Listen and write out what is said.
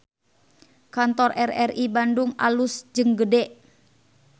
Kantor RRI Bandung alus jeung gede